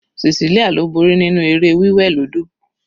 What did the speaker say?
Cecelia ló borí nínú eré wí wẹ̀ lódò.